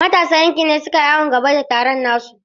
Matasan yankin ne suka yi awon gaba da taron nasu.